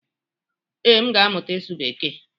Ee, m ga-amụta ịsụ bekee.